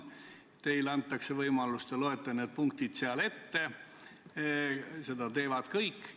Teile antakse seal võimalus ja te loete need punktid ette, seda teevad kõik.